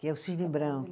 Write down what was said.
que é o Cisne Branco.